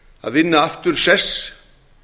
að vinna aftur sess